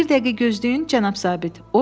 Bir dəqiqə gözləyin, cənab zabit.